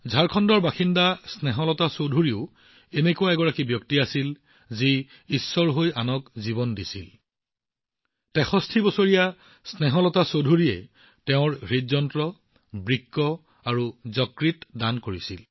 ঝাৰখণ্ডৰ বাসিন্দা স্নেহলতা চৌধুৰীও তেনে আছিল যিয়ে সৰ্বশক্তিমানৰ দৰে আনক জীৱন দিছিল ৬৩ বছৰীয়া স্নেহলতা চৌধুৰীয়ে তেওঁৰ হৃদযন্ত্ৰ বৃক্ক আৰু যকৃত দান কৰিছিল